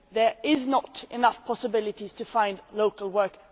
there are not enough possibilities to find local work.